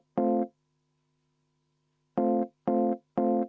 Ettepanek leidis toetust.